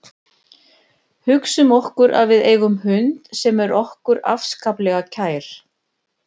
Hugsum okkur að við eigum hund sem er okkur afskaplega kær.